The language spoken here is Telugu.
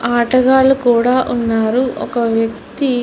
ఆటగాళ్లు కూడా ఉన్నారు ఒక వ్యక్తి --